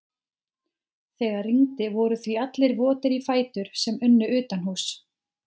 Þegar rigndi voru því allir votir í fætur sem unnu utanhúss.